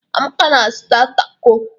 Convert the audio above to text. Amaka na-azụta tako.